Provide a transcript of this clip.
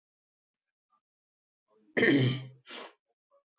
Ég hafði verið svo einföld að trúa að ég hefði eignast vini.